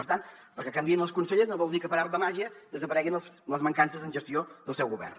per tant que canviïn els consellers no vol dir que per art de màgia desapareguin les mancances en gestió del seu govern